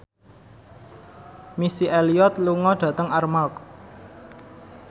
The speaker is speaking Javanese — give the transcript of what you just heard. Missy Elliott lunga dhateng Armargh